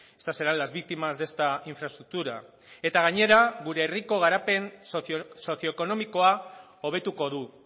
estas serán las víctimas de esta infraestructura eta gainera gure herriko garapen sozioekonomikoa hobetuko du